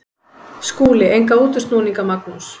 Hvað með skó?